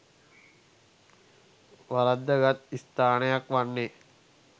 වරද්දාගත් ස්ථානයක් වන්නේ